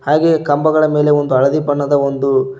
ಹಾಗೆ ಕಂಬಗಳ ಮೇಲೆ ಒಂದು ಹಳದಿ ಬಣ್ಣದ ಒಂದು--